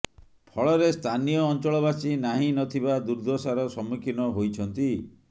ଫଳରେ ସ୍ଥାନୀୟ ଅଞ୍ଚଳବାସୀ ନାହିଁ ନଥିବା ଦୁର୍ଦ୍ଦଶାର ସମ୍ମୁଖୀନ ହୋଇଛନ୍ତି